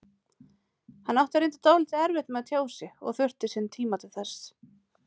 Hann átti reyndar dálítið erfitt með að tjá sig og þurfti sinn tíma til þess.